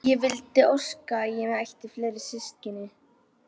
Ég vildi óska að ég ætti fleiri systkini.